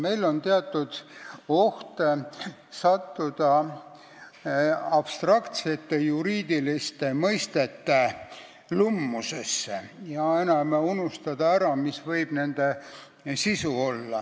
Meil on teatud oht sattuda abstraktsete, juriidiliste mõistete lummusesse ja unustada ära, mis võib olla nende sisu.